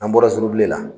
An bɔra surubi la